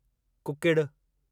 कुकिड़ि